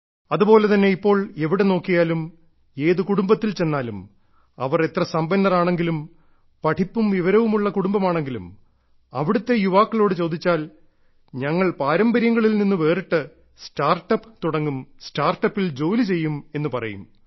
അതുപോലെ തന്നെ ഇപ്പോൾ എവിടെ നോക്കിയാലും ഏത് കുടുംബത്തിൽ ചെന്നാലും അവർ എത്ര സമ്പന്നർ ആണെങ്കിലും പഠിപ്പും വിവരവുമുള്ള കുടുംബമാണെങ്കിലും അവിടത്തെ യുവാക്കളോട് ചോദിച്ചാൽ ഞങ്ങൾ പാരമ്പര്യങ്ങളിൽ നിന്നും വേറിട്ട് സ്റ്റാർട്ടപ്പ് തുടങ്ങും സ്റ്റാർട്ട് അപ്പിൽ ജോലി ചെയ്യും എന്നു പറയും